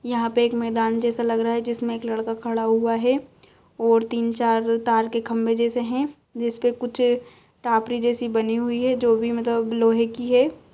यहाँ पे एक मैदान जैसा लग रहा है जिसमें एक लड़का खड़ा हुआ है और तीन-चार तार के खंभे जैसे हैं जिस पे कुछ टाॅपरी जैसी बनी हुई है जो भी मलतब लोहे की है।